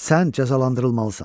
Sən cəzalandırılmalısan.